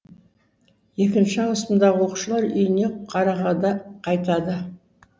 екінші ауысымдағы оқушылар үйіне қарагада қайтады